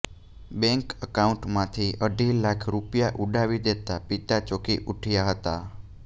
bank અકાઉન્ટમાંથી અઢી લાખ રૂપિયા ઉડાવી દેતા પિતા ચોંકી ઉઠ્યા હતા